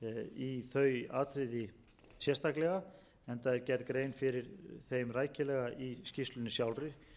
í þau atriði sérstaklega enda er gerð grein fyrir þeim rækilega í skýrslunni sjálfri